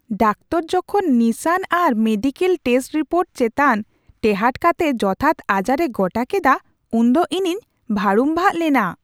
Doctor ᱡᱚᱠᱷᱚᱱ ᱱᱤᱥᱟᱹᱱ ᱟᱨ ᱢᱮᱰᱤᱠᱮᱞ ᱴᱮᱥᱴ ᱨᱤᱯᱳᱨᱴ ᱪᱮᱛᱟᱱ ᱴᱮᱦᱟᱸᱴ ᱠᱟᱛᱮ ᱡᱚᱛᱷᱟᱛ ᱟᱡᱟᱨ ᱮ ᱜᱚᱴᱟ ᱠᱮᱫᱟ ᱩᱱᱫᱚ ᱤᱧᱤᱧ ᱵᱷᱟᱹᱲᱩᱢᱵᱷᱟᱜᱽ ᱞᱮᱱᱟ ᱾